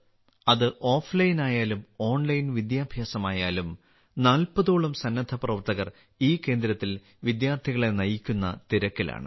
അത് ഓഫ്ലൈനായാലും ഓൺലൈൻ വിദ്യാഭ്യാസമായാലും 40 ഓളം സന്നദ്ധപ്രവർത്തകർ ഈ കേന്ദ്രത്തിൽ വിദ്യാർത്ഥികളെ നയിക്കുന്ന തിരക്കിലാണ്